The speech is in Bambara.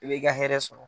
I b'i ka hɛrɛ sɔrɔ